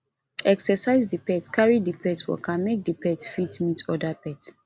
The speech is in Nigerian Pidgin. exercise di pet carry di pet waka make di pet fit meet oda pet